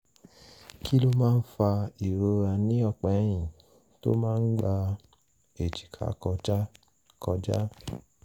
kí ló máa ń fa ìrora ní ọ̀pá ẹ̀yìn tó máa ń gba èjìká kọjá? kọjá?